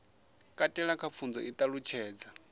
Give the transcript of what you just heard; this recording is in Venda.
katela kha pfunzo i ṱalutshedza